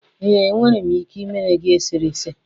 ee, enwere m ike ịmere gị eserese.